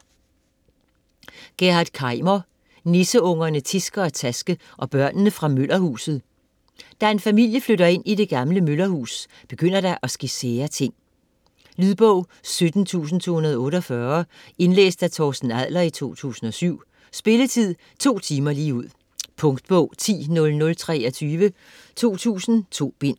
Kaimer, Gerhard: Nisseungerne Tiske og Taske og børnene fra møllerhuset Da en familie flytter ind i det gamle møllerhus, begynder der at ske sære ting. Lydbog 17248 Indlæst af Torsten Adler, 2007. Spilletid: 2 timer, 0 minutter. Punktbog 100023 2000.2 bind.